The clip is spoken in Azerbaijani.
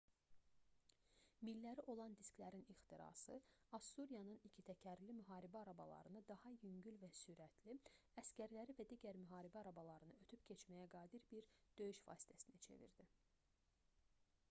milləri olan disklərin ixtirası assuriyanın ikitəkərli müharibə arabalarını daha yüngül və sürətli əsgərləri və digər müharibə arabalarını ötüb keçməyə qadir bir döyüş vasitəsinə çevirdi